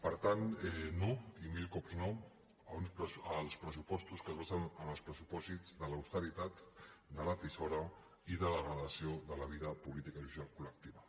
per tant no i mil cops no als pressupostos que es basen en els pressupòsits de l’austeritat de la tisora i de la degradació de la vida política i social col·lectiva